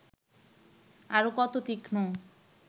আরও কত তীক্ষ্ণ